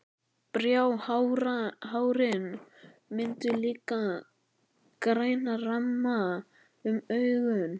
Bráhárin mynda líka græna ramma um augun.